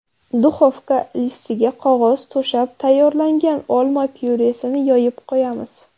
Duxovka listiga qog‘oz to‘shab, tayyorlangan olma pyuresini yoyib qo‘yamiz.